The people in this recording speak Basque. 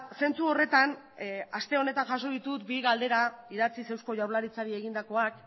zentzu horretan aste honetan jaso ditut bi galdera idatziz eusko jaurlaritzari egindakoak